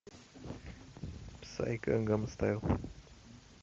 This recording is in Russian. псай гангнам стайл